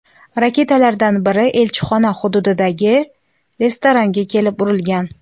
Raketalardan biri elchixona hududidagi restoranga kelib urilgan.